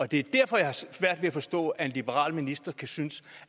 det er derfor jeg har svært ved at forstå at en liberal minister kan synes